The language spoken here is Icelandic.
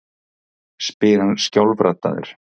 spyr hann skjálfraddaður.